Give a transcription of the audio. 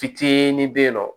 Fitinin be yen nɔ